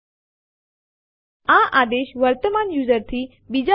તે સમગ્ર ડિરેક્ટરી સંરચનાને રીકરસીવ કોપી કરે છે